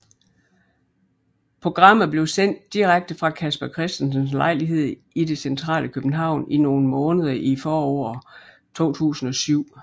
Programmet blev sendt direkte fra Casper Christensens lejlighed i det centrale København i nogle måneder i foråret 2007